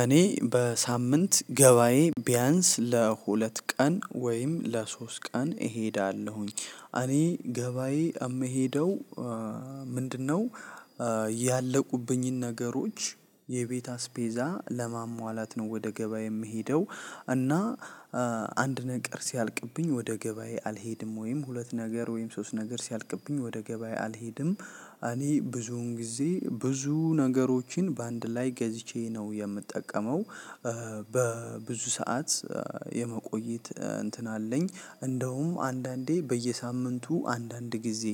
እኔ በሳምንት ገባዬ ቢያንስ ለሁለት ቀን ወይም ለሶስት ቀን እሄዳለሁኝ እኔ ገባዬ እምሄደው ምንድነው? ያለቁብኝን ነገሮች የቤት አስቤዛ ለማሟላት ነው ወደ ገበያ የምሄደው። እና አንድ ነገር ሲያልቅብኝ ወደ ገበያ አልሄድም ወይም ሁለት ነገር ወይም ሶስት ነገር ሲያልቅብኝ ወደ ገበያ አልሄድም እኔ ብዙውን ጊዜ ብዙ ነገሮችን በአንድ ላይ ገዝቼ ነው የምጠቀመው። በብዙ ሰዓት የመቆየት እንትን አለኝ እንደውም አንዳንዴ በየሳምንቱ አንዳንድ ጊዜ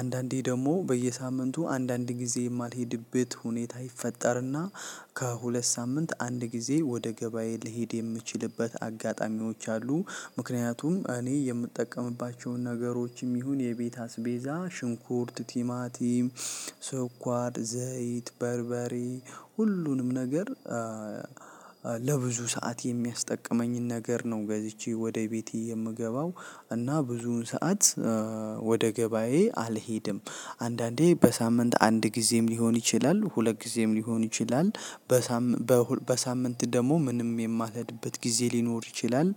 አንዳንዴ ደግሞ በየሳምንቱ አንዳንድ ጊዜ የማልሄድበት ሁኔታ ይፈጠርና ከሁለት ሳምንት አንድ ጊዜ ወደ ገበያ ልሂድ የምችልበት አጋጣሚዎች አሉ። ምክንያቱም እኔ የምጠቀምባቸውን ነገሮችም ይሁን የቤት አስቤዛ ሽንኩርት ቲማቲም ስኳር ዘይት በርበሬ ሁሉንም ነገር ለብዙ ሰዓት የሚያስጠቅመኝን ነገር ነው ገዝቼ ወደ ቤቴ የምገባው። እና ብዙውን ሰዓት ወደ ገባዬ አልሄድም አንዳንዴ በሳምንት አንድ ጊዜም ሊሆን ይችላል ሁለት ጊዜም ሊሆን ይችላል። በሳምንት በሳምንት ደግሞ ምንም የማልሄድበት ጊዜ ሊኖር ይችላል።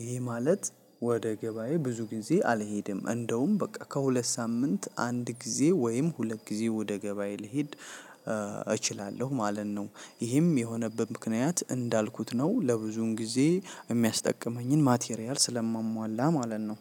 ይሄ ማለት ወደ ገባዬ ብዙ ጊዜ አልሄድም እንደውም በቃ ከሁለት ሳምንት አንድ ጊዜ ወይም ሁለት ጊዜ ወደ ገበያ ልሄድ እችላለሁ ማለት ነው። ይህም የሆነበት ምክንያት እንዳልኩት ነው ለብዙን ጊዜ የሚያስጠቅመኝን ማቴሪያል ስለማሟላ ማለት ነው።